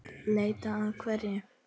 Leita að hverju?